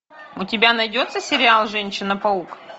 у тебя найдется сериал женщина паук